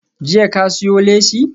Jiya ka siyo leshi?